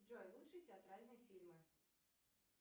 джой лучшие театральные фильмы